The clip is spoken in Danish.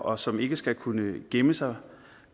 og som ikke skal kunne gemme sig